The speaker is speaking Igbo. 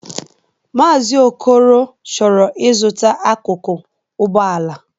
Maazi Okoro chọrọ ịzụta akụkụ Ụgbọala.